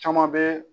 Caman bɛ